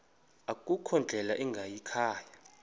akukho ndlela ingayikhaya